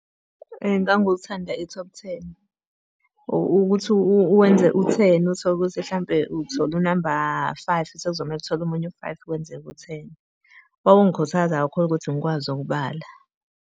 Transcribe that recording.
Nganguthanda i-top ten. Ukuthi uwenze u-ten, uthole ukuthi hlampe uthole unamba five sekuzomele uthole omunye u-five kwenzeke u-ten. Kwakungikhuthaza kakhulu ukuthi ngikwazi ukubala.